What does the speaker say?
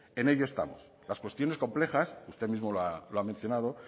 en ello estamos las cuestiones complejas usted mismo lo ha mencionado